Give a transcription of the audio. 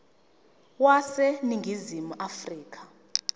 wase ningizimu afrika